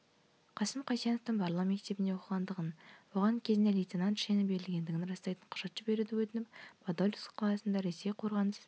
қасым қайсеновтың барлау мектебінде оқығандығын оған кезінде лейтенант шені берілгендігін растайтын құжат жіберуді өтініп падольск қаласындағы ресей қорғаныс